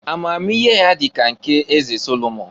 Amamihe ya dị ka nke eze Solomon.